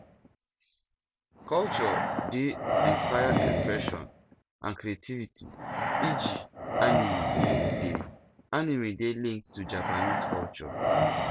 culture dey inspire expression and creativity eg animie dey animie dey linked to japanese culture